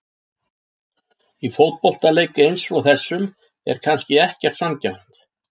Í fótboltaleik eins og þessum er kannski ekkert sanngjarnt.